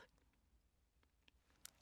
DR P4 Fælles